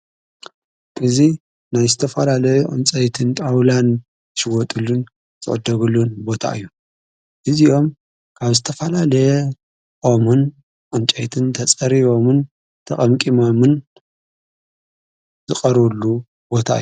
እዙይ ናይ ዝተፈላለየ ዕንፀይትን ጣውላን ዝሽወጡሉን ዝዕደግሉን ቦታ እዩ እዚዮም ካብ ዝተፈላለየ ኦምን ዖንጨይትን ተጸሪቦምን ተቐምቂሞምን ዝቐሩሉ ቦታ እዩ።